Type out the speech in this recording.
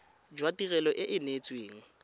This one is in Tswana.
jwa tirelo e e neetsweng